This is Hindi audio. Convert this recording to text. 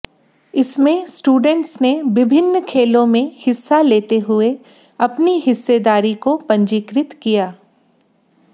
इसमें स्टूडेंट्स ने विभिन्न खेलों में हिस्सा लेते हुए अपनी हिस्सेदारी को पंजिकृत किया